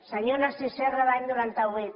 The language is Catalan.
senyor narcís serra l’any noranta vuit